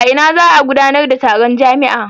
A ina za a gudanar da taron jami'a?